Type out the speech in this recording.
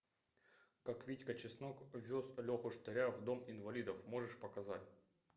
как витька чеснок вез леху штыря в дом инвалидов можешь показать